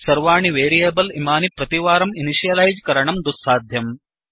सर्वाणि वेरियेबल् इमानि प्रतिवारं इनिशियलैज् करणं दुःसाध्यम्